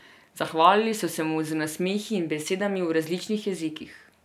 Zahvalili so se mu z nasmehi in besedami v različnih jezikih.